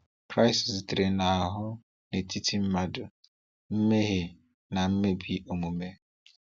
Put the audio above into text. Kristi zitere n’ahụ n’etiti mmadụ mmehie na mmebi omume.